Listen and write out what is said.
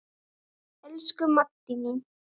Elsku Maddý mín.